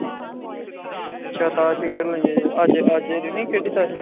ਅੱਜ ਅੱਜ ਨੀ ਖੇਡੀ ਤਾਸ਼